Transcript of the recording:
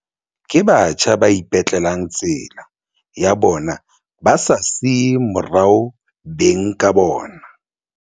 Ke batjha ba ipetlelang tsela ya bona ba sa siye morao beng ka bona.